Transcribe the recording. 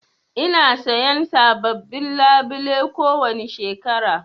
Ina sayan sabobbin labule kowani shekara.